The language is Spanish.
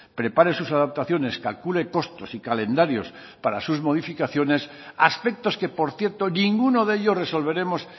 prepare sus adaptaciones calcule costos y calendarios para sus modificaciones aspectos que por cierto ninguno de ellos resolveremos